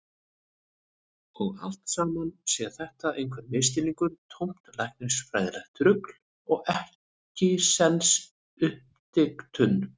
Og allt saman sé þetta einhver misskilningur, tómt læknisfræðilegt rugl og ekkisens uppdiktun.